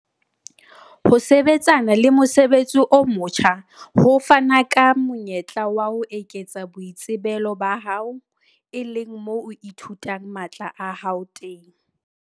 Ho sebetsana le mosebetsi o motjha ho fana ka monyetla wa ho eketsa boitsebelo ba hao, e leng moo o ithutang matla a hao teng.